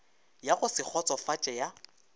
ya go se kgotsofatše ya